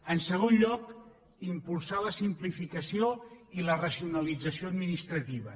en segon lloc impulsar la simplificació i la racionalització administrativa